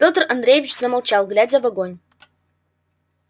пётр андреевич замолчал глядя в огонь